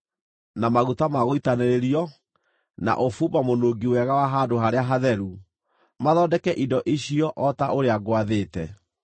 na maguta ma gũitanĩrĩrio, na ũbumba mũnungi wega wa Handũ-harĩa-Hatheru. Mathondeke indo icio o ta ũrĩa ngwathĩte.”